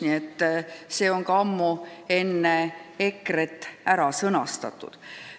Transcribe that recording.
Nii et see on ammu enne EKRE-t ära sõnastatud.